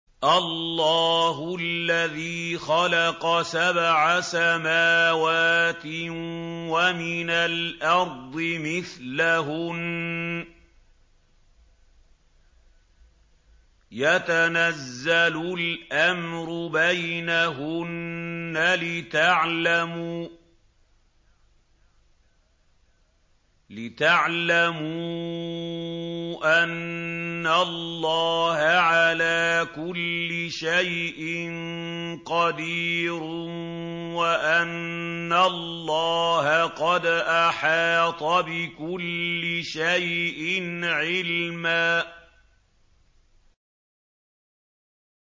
اللَّهُ الَّذِي خَلَقَ سَبْعَ سَمَاوَاتٍ وَمِنَ الْأَرْضِ مِثْلَهُنَّ يَتَنَزَّلُ الْأَمْرُ بَيْنَهُنَّ لِتَعْلَمُوا أَنَّ اللَّهَ عَلَىٰ كُلِّ شَيْءٍ قَدِيرٌ وَأَنَّ اللَّهَ قَدْ أَحَاطَ بِكُلِّ شَيْءٍ عِلْمًا